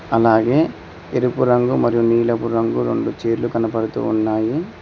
అలాగే ఎరుపు రంగు మరియు నీలపు రంగు రెండు చైర్లు కనబడుతూ ఉన్నాయి.